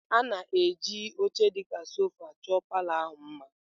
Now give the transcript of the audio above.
A na-eji oche dị ka sofa chọọ palour ahụ mma.